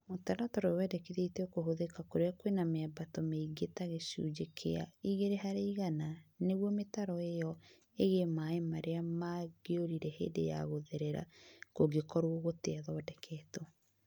Mũtaratara ũyũ wendĩkithĩtio kũhũthĩka kũrĩa kwina miambato mĩingĩ ta gĩcunjĩ kĩa 2% nĩguo mĩtaro ĩyo ĩige maaĩ marĩa mangĩũrire hĩndĩ ya gũtherera kũngĩkorwo gũtirathondeketwo.